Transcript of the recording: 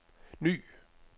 ny